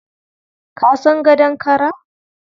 Ka san gadon kara?